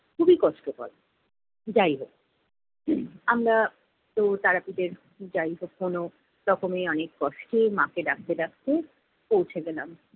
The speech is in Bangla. খুবই কষ্টকর। যাই হোক আমরা তো যাই কখনও তখনই অনেক কষ্টে মাকে ডাকতে ডাকতে পৌঁছে গেলাম।